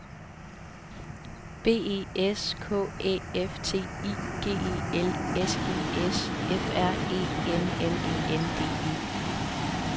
B E S K Æ F T I G E L S E S F R E M M E N D E